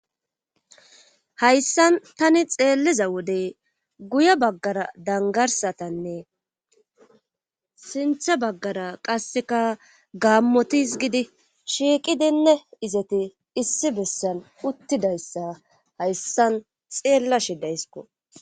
Hayssan tani xelliza wode guye baggara dangarssatanne sinthe baggara qassika gaammoti izgidi shiiqidinne izeti issi bessan uttidayssa hayssan xeellashe dayskko.